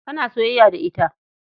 Kana soyayya da ita.